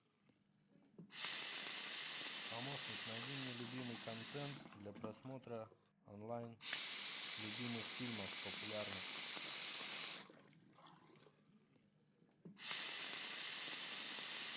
помощник найди мне любимый контент для просмотра онлайн любимых фильмов популярных